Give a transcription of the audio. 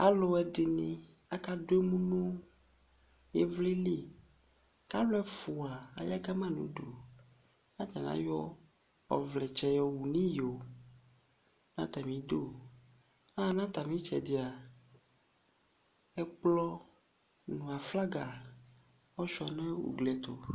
Aaluɛɖini akaɖʋ emu nʋ ivliliK'alʋ ɛfʋa aya Kama nʋ ʋɖuAtani ayɔ ɔvlɛtsɛ yɔwu nʋ iyoatamiɖʋaɣa nʋ atami tsɛɖia ɛkplɔ n'aflaga ɔshua nʋ ʋglitʋ